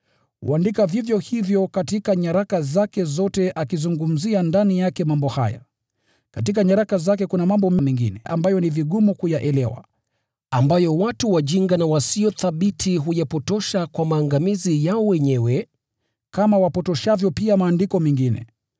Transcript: Huandika vivyo hivyo katika nyaraka zake zote, akizungumzia ndani yake mambo haya. Katika nyaraka zake kuna mambo mengine ambayo ni vigumu kuyaelewa, ambayo watu wajinga na wasio thabiti huyapotosha kwa maangamizi yao wenyewe, kama wapotoshavyo pia Maandiko mengine.